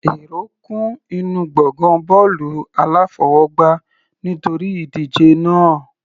Èrò kún inú gbọ̀ngàn bọ́ọ̀lù aláfọwọgbá nítorí ìdíje náà.